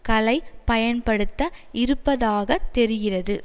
களை பயன்படுத்த இருப்பதாக தெரிகிறது